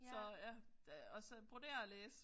Så ja det og så brodere og læse